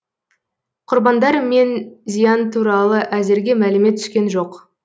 құрбандар мен зиян туралы әзірге мәлімет түскен жоқ